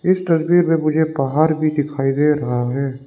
इस तस्वीर में मुझे पहाड़ भी दिखाई दे रहा है।